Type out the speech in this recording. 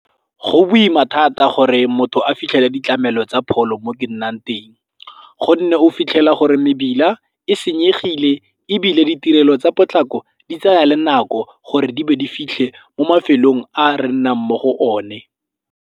Go boima thata gore motho a fitlhele ditlamelo tsa pholo mo ke nnang teng gonne o fitlhela gore mebila e senyegile ebile ditirelo tsa potlako di tsaya le nako gore di be di fitlhe mo mafelong a re nnang mo go one.